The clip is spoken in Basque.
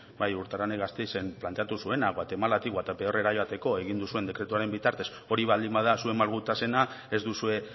bai urtararek gasteizen planteatu zuena guatemalatik guatepeorrera joateko egin duzuen dekretuaren bitartez hori baldin bada zuen malgutasuna ez duzue